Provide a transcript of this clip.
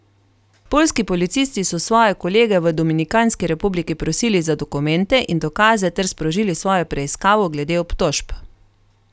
Poljski policisti so svoje kolege v Dominikanski republiki prosili za dokumente in dokaze ter sprožili svojo preiskavo glede obtožb.